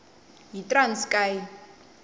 yitranskayi